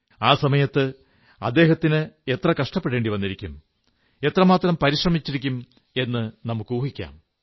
ആ സമയത്ത് അദ്ദേഹത്തിന് എത്ര കഷ്ടപ്പെടേണ്ടി വന്നിരിക്കും എത്രമാത്രം പരിശ്രമിച്ചിരിക്കും എന്ന് നമുക്കൂഹിക്കാം